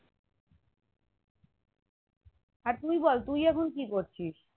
আর তুই বল তুই এখন কি করছিস